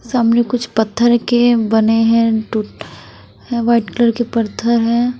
सामने कुछ पत्थर के बने हैं टूट वाइट कलर के पत्थर हैं।